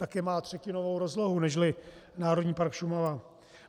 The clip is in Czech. Také má třetinovou rozlohu než Národní park Šumava.